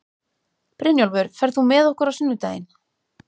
Brynjólfur, ferð þú með okkur á sunnudaginn?